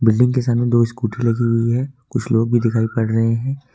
Building के सामने दो स्कूटर लगी हुई है कुछ लोग भी दिखाई पड़ रहे हैं।